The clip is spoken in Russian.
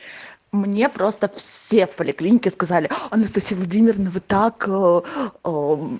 мне просто все в поликлинике сказали анастасия владимировна вы так ээ